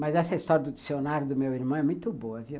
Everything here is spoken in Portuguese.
Mas essa história do dicionário do meu irmão é muito boa, viu?